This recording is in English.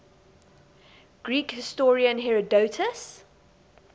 greek historian herodotus